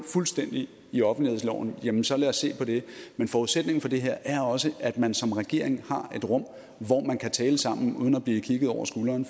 fuldstændigt i offentlighedsloven jamen så lad os se på det men forudsætningen for det her er også at man som regering har et rum hvor man kan tale sammen uden at blive kigget over skulderen